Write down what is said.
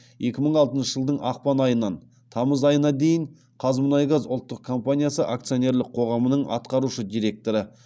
екі мың алтыншы жылдың ақпан айынан тамыз айына дейін қазмұнайгаз ұлттық компаниясы акционерлік қоғамының атқарушы директоры